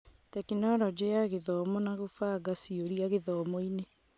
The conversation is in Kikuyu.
Tekinoronjĩ ya Gĩthomo na gũbanga ciũria gĩthomo-inĩ